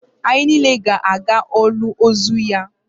Anyị niile ga-aga olili ozu ya